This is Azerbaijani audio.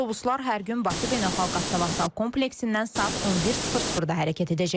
Avtobuslar hər gün Bakı Beynəlxalq Avtovağzal kompleksindən saat 11:00-da hərəkət edəcək.